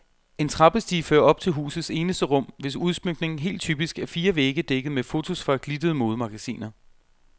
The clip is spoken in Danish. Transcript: En trappestige fører op til husets eneste rum, hvis udsmykning helt typisk er fire vægge dækket med fotos fra glittede modemagasiner.